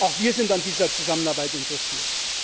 Auch wir sind an dieser Zusammenarbeit interessiert.